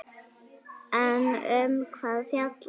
En um hvað fjallar verkið?